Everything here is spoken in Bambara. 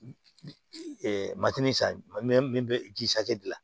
matini san min bɛ ji hakɛ gilan